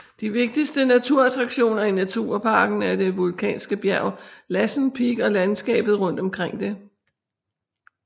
De vigtigste naturattraktioner i nationalparken er det vulkanske bjerg Lassen Peak og landskabet rundt omkring det